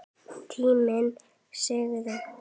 Tíminn sagði